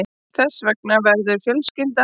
Þess vegna verður fjölskyldan að bíða